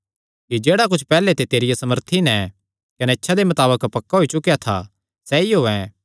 कि जेह्ड़ा कुच्छ पैहल्ले ते तेरिया समर्था नैं कने इच्छा दे मताबक पक्का होई चुकेया था सैई होयैं